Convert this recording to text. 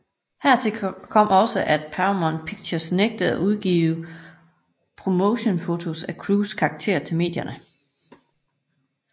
Hertil kom også at Paramount Pictures nægtede at udgive promotionsfotos af Cruises karakter til medierne